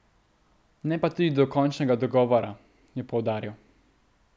Ne pa tudi do končnega dogovora, je poudaril.